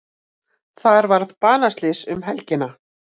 Þar varð banaslys um helgina.